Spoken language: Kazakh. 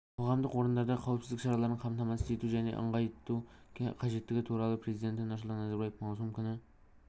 қоғамдық орындарда қауіпсіздік шараларын қамтамасыз ету және нығайту қажеттілігі туралы президенті нұрсұлтан назарбаев маусым күні